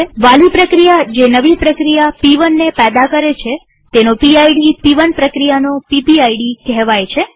વાલી પ્રક્રિયા જે નવી પ્રક્રિયા પ1 ને પેદા કરે છે તેનો પીડ પ1 પ્રક્રિયાનો પીપીઆઈડી કહેવાય છે